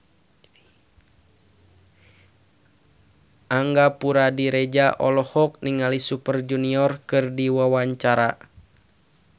Angga Puradiredja olohok ningali Super Junior keur diwawancara